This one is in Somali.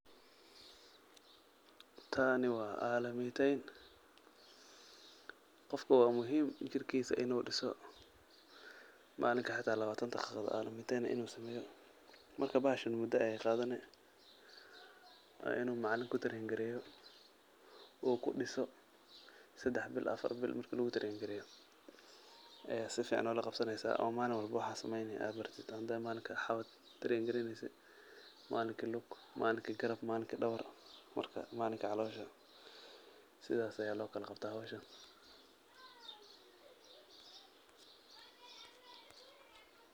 Taani wa alaminteyn, qofka wa muhim jirkisa inu dhiso, malinki xata labatan daqiiqad alaminteyn inu sameeyo Marka bahashan muda ayay qadane, waa inu macalin kutreingareeyo uu kudhiso sedax bil afar bil marku kutreingareyo aya si fican ola qabsajeysa oo malin walboba waxad sameeyni ad baratid malinki xawad treingareyneyse, malinki lug, malinki dhabar marka malinki calosha sidas aya lokala qabtaa howshan